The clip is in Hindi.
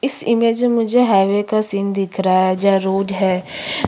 इस इमेज मे मुझे हाइवे का सीन दिख रहा हैं जहां रोड है।